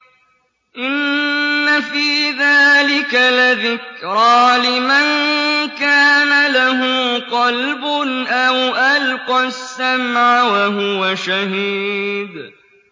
إِنَّ فِي ذَٰلِكَ لَذِكْرَىٰ لِمَن كَانَ لَهُ قَلْبٌ أَوْ أَلْقَى السَّمْعَ وَهُوَ شَهِيدٌ